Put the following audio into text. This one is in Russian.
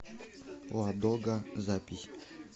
ладога запись